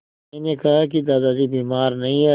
मैंने कहा कि दादाजी बीमार नहीं हैं